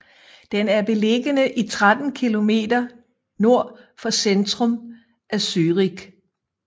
Den er beliggende 13 km nord for centrum af Zürich